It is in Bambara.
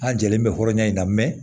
A jɛlen bɛ hɔrɔnya in na mɛ